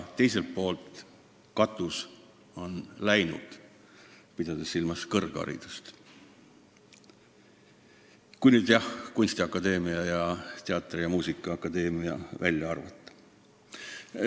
Teiselt poolt, katus on läinud – pean silmas kõrgharidust, kui kunstiakadeemia ning teatri- ja muusikaakadeemia välja arvata.